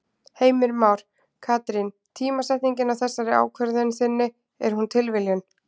Heimir Már: Katrín tímasetningin á þessari ákvörðun þinni, er hún tilviljun?